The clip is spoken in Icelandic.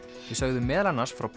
við sögðum meðal annars frá